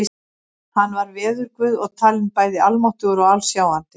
Hann var veðurguð og talinn bæði almáttugur og alsjáandi.